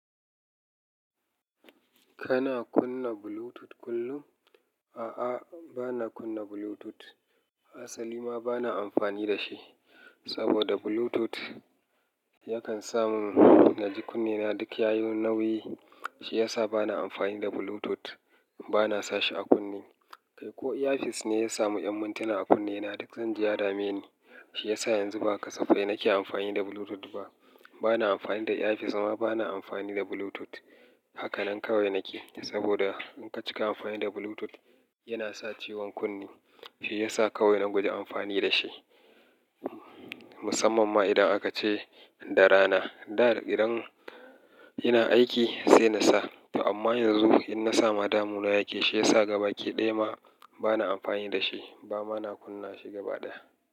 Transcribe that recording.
Kana kunna Bluetooth kullum? A'a, bana kunna Bluetooth. Asali ma bana amfani da shi saboda Bluetooth yakan sa mun naji kunnena duk ya yi nauyi. Shi ya sa bana amfani da Bluetooth, bana sa shi a kunne. Kai ko earpiece ne ya samu 'yan mintuna a kunne na duk zan ji ya dameni. Shi ya sa yanzu ba kasafai nake amfani da Bluetooth ba. Bana amfani da earpiece ma bana amfani da Bluetooth. Hakanan kawai nake saboda in ka cika amfani da Bluetooth, yana sa ciwon kunne. Shi ya sa kawai na guji amfani da shi. Musamman ma idan aka ce da rana. Da idan ina aiki sai na sa. To amma yanzu in na samu damuna yake, shi ya sa gabaki ɗaya ma bana amfani da shi ba ma na kunna shi gaba ɗaya.